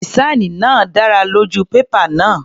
Dìsáìnì náà dára lójú pépà náà.